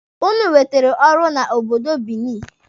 Ụnụ nwetere ọrụ na obodo Binini.